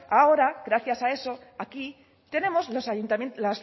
ahora gracias a eso aquí tenemos